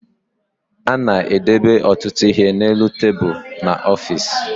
A na-edebe ọtụtụ ihe n'elu tebulu n'ọfiisi